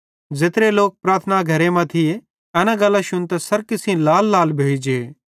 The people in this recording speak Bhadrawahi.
ज़ेत्रे लोक प्रार्थना घरे मां थिये एना गल्लां शुन्तां सरकी सेइं लाललाल भोइ जे